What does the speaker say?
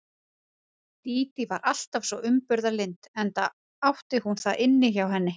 Dídí var alltaf svo umburðarlynd enda átti hún það inni hjá henni.